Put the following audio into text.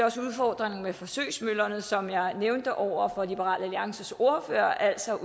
også udfordringen med forsøgsmøllerne som jeg nævnte over for liberal alliances ordfører altså